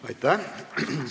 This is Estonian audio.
Aitäh!